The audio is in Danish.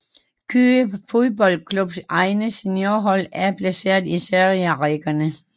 Køge Boldklubs egne seniorhold er placeret i serierækkerne